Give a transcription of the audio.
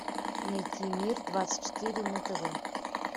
найти мир двадцать четыре на тв